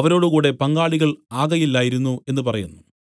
അവരോട് കൂടെ പങ്കാളികൾ ആകയില്ലായിരുന്നു എന്നു പറയുന്നു